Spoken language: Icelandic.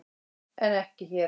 En ekki hér.